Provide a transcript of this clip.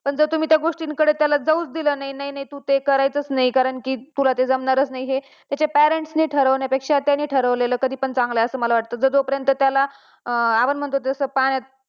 पण जर तुम्ही त्या गोष्टीत त्याला जाऊच दिलं नाही, नई नाही तू ते करायचंच नाही, तुला ते जमणारच नाही हे त्या parents ने ठरवण्या पेक्षा त्याने ठरवलेलं कधीपण चांगलं आहे असं मला वाटत, जो पर्यंत त्याला आपण म्हणतो तसं